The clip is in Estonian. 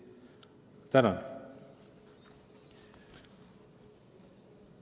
Tänan!